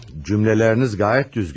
Cümlələriniz gayet düzgün.